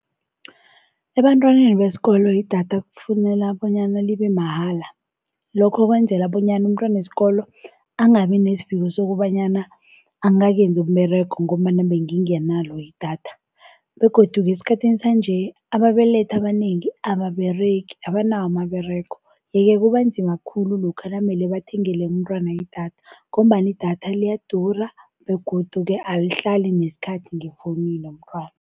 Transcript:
Ebantwaneni besikolo idatha kufuneka bonyana libe mahala, lokho kwenzela bonyana umntwana wesikolo angabi nesiviko sokobanyana angakenzi umberego ngombana bengi nganalo idatha. Begodu-ke esikhathini sanje ababelethi abanengi ababeregi, abanawo amaberego. Yeke kubanzima khulu lokha namele bathengele umntwana idatha ngombana idatha liyadura begodu-ke alihlali nesikhathi ngefonini yomntwana.